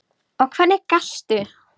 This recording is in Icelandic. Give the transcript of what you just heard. Og hvernig gastu.?